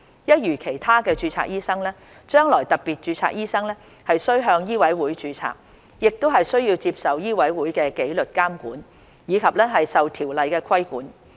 一如其他註冊醫生，將來特別註冊醫生須向醫委會註冊，亦須接受醫委會的紀律監管，以及受《條例》規管。